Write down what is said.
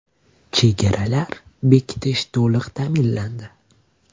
Chegaralar bekitilishi to‘liq ta’minlandi.